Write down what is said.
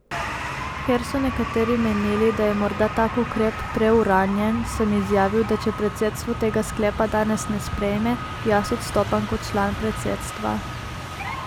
Ker so nekateri menili, da je morda tak ukrep preuranjen, sem izjavil, da če predsedstvo tega sklepa danes ne sprejme, jaz odstopam kot član predsedstva.